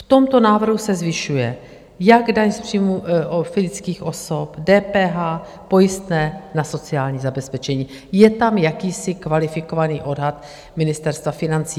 V tomto návrhu se zvyšuje jak daň z příjmů fyzických osob, DPH, pojistné na sociální zabezpečení, je tam jakýsi kvalifikovaný odhad Ministerstva financí.